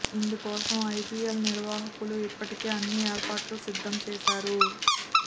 ఇందుకోసం ఐపీఎల్ నిర్వాహకులు ఇప్పటికే అన్ని ఏర్పాట్లు సిద్ధం చేశారు